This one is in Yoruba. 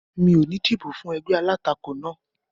Mi ò ní dìbò fún ẹgbẹ́ alátakò náà